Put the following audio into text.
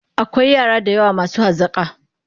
Akwai yara da yawa masu hazaƙa.